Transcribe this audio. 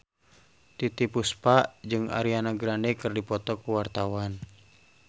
Titiek Puspa jeung Ariana Grande keur dipoto ku wartawan